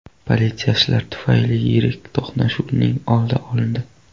Politsiyachilar tufayli yirik to‘qnashuvning oldi olindi.